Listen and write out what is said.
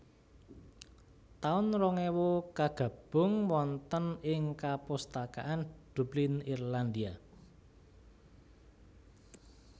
taun rong ewu Kagabung wonten ing kapustakaan Dublin Irlandia